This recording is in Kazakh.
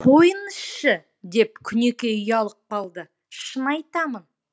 қойыңызшы деп күнікей ұялып қалды шын айтамын